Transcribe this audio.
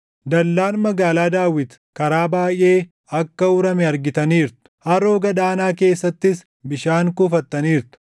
Dallaan Magaalaa Daawit karaa baayʼee akka urame argitaniirtu; Haroo Gad aanaa keessattis bishaan kuufattaniirtu.